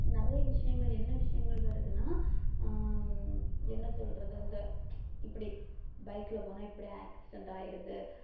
நிறைய விஷயங்கள் என்ன விஷயங்கள் வருதுன்னா உம் என்ன சொல்றது அந்த இப்படி பைக்ல போனா இப்படி accident ஆயிடுது